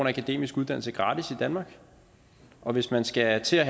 en akademisk uddannelse gratis i danmark og hvis man skal til at